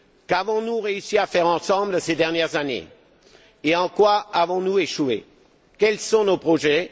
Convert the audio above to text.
Qu'avons nous réussi à faire ensemble ces dernières années et en quoi avons nous échoué? Quels sont nos projets?